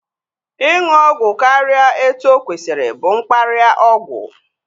Ịṅụ ọgwụ karịa etu okwesiri bụ mkparịa ọgwụ